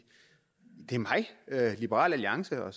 er mig liberal alliance og